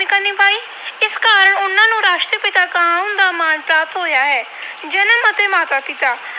ਨਿਭਾਉਣ ਦਾ ਮਾਣ ਪ੍ਰਾਪਤ ਹੋਇਆ ਹੈ। ਜਨਮ ਅਤੇ ਮਾਤਾ ਪਿਤਾ